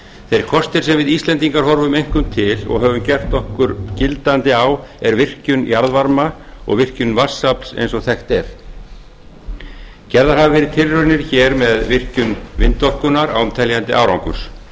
þeir kostir sem við íslendingar horfum einkum til og höfum okkur gildandi á er virkjun jarðvarma og virkjun vatnsafls eins og þekkt er gerðar hafa verið tilraunir hér með virkjun vindorkunnar án teljandi árangurs